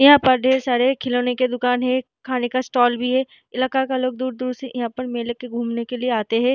यहां पर ढेर सारे खिलौने के दुकान है खाने का स्टाल भी है इलाका का लोग दूर-दूर से यहां पर मेले के घूमने के लिए आता है।